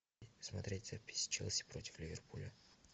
смотреть запись челси против ливерпуля